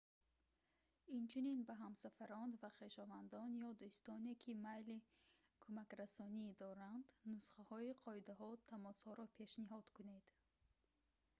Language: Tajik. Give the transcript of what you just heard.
инчунин ба ҳамсафарон ва хешовандон ё дӯстоне ки майли кӯмакрасонӣ доранд нусхаҳои қоидаҳо/тамосҳоро пешниҳод кунед